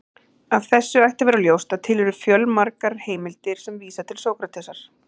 Af þessu ætti að vera ljóst að til eru fjölmargar heimildir sem vísa til Sókratesar.